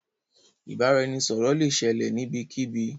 Ìbàràẹ̀nisọ̀rọ̀ lẹ ṣẹlẹ̀ níbẹ̀kíbí.